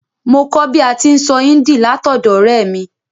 Mo kó bi a ti n sọ Hindi látọ̀dọ̀ ọ̀rẹ́ mi